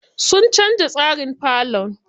Sun canza tsarin falon.